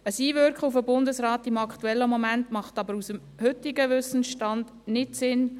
Ein Einwirken auf den Bundesrat zum aktuellen Zeitpunkt macht aber nach heutigen Wissenstand keinen Sinn.